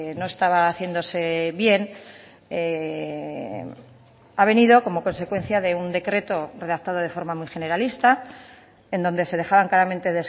no estaba haciéndose bien ha venido como consecuencia de un decreto redactado de forma muy generalista en donde se dejaban claramente